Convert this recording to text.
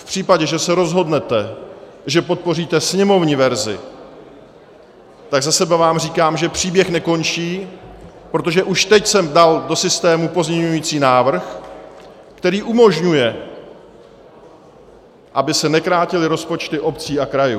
V případě, že se rozhodnete, že podpoříte sněmovní verzi, tak za sebe vám říkám, že příběh nekončí, protože už teď jsem dal do systému pozměňovací návrh, který umožňuje, aby se nekrátily rozpočty obcí a krajů.